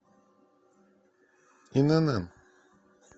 инн